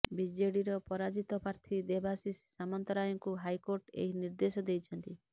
ବିଜେଡିର ପରାଜିତ ପ୍ରାର୍ଥୀ ଦେବାଶିଷ ସାମନ୍ତରାୟଙ୍କୁ ହାଇକୋର୍ଟ ଏହି ନିର୍ଦ୍ଦେଶ ଦେଇଛନ୍ତି